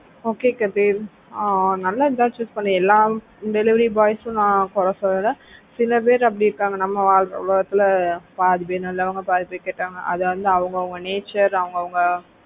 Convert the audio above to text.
okay Kathir ஆஹ் நல்லது தான் choose பண்ண எல்லா delivery boys யும் நான் குறை சொல்லல சில பேர் அப்படி இருக்காங்க நம்ம world ல பாதி பேர் நல்லவங்க பாதிப்பேர் கெட்டவங்க. அது வந்து அவங்க அவங்க nature அவங்க அவங்க